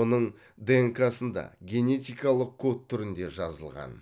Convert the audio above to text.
оның днк сында генетикалық код түрінде жазылған